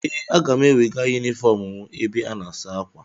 Ee, aga m ewega yunifọm mụ ebe a na-asa ákwà.